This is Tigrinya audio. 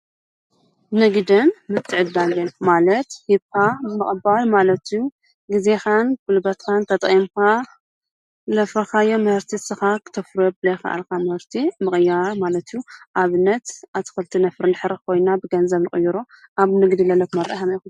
ንግደን ምትዕድዳግን ማለት ሂብካ ምቅባል ማለት እዩ፡፡ ግዜካን ጉልበትካን ተጠቂምካ ዘፍራካዮ ምህርቲ ንስካ ክተፍርዮ ዘይከኣልካ ምህርቲ ምቅያር ማለት እዩ፡፡ ኣብነት ኣትክልቲ እንድሕር ነፍሪ ኮይንና ብ ገንዘብ ንቅይሮ። ኣብ ንግዲ ዘለኩ ኣረኣእያ ከመይ ኢኩም?